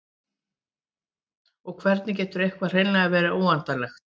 og hvernig getur eitthvað hreinlega verið óendanlegt